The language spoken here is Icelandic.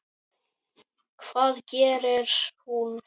Hvað gerir hún?